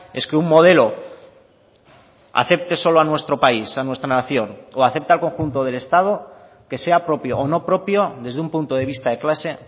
es que un modelo afecte solo a nuestro país a nuestra nación o afecte al conjunto del estado que sea propio o no propio desde un punto de vista de clase